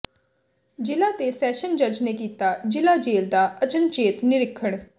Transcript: ਜ਼ਿਲ੍ਹਾ ਤੇ ਸ਼ੈਸ਼ਨ ਜੱਜ ਨੇ ਕੀਤਾ ਜ਼ਿਲ੍ਹਾ ਜੇਲ੍ਹ ਦਾ ਅਚਨਚੇਤ ਨਿਰੀਖੱਣ